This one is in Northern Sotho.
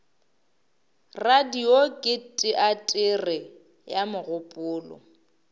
radio ke teatere ya mogopolo